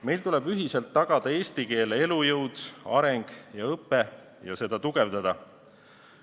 Meil tuleb ühiselt tagada eesti keele elujõud, areng ja õpe ja seda tugevdada.